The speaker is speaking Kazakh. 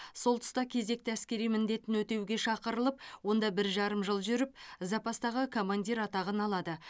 сол тұста кезекті әскери міндетін өтеуге шақырылып онда бір жарым жыл жүріп запастағы командир атағын алады